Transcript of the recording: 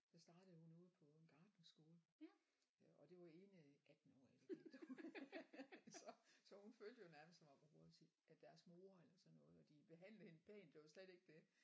Så startede hun ude på en gartnerskole øh og det var ene 18-årige fordi at hun så så hun følte jo nærmest som om hun var deres mor eller sådan noget og de behandlede hende pænt det var slet ikke det